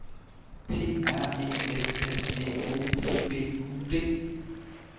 P R E S S E O P B U D